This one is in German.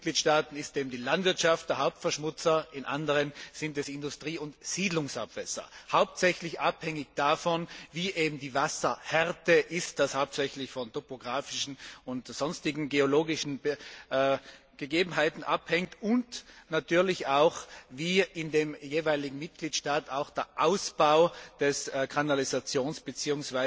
In manchen Mitgliedstaaten ist eben die Landwirtschaft der Hauptverschmutzer, in anderen sind es Industrie und Siedlungsabwässer, hauptsächlich abhängig davon, wie die Wasserhärte ist, was hauptsächlich von topographischen und sonstigen geologischen Gegebenheiten abhängt, und natürlich auch davon, wie in dem jeweiligen Mitgliedstaat der Ausbau des Kanalisationssystems bzw.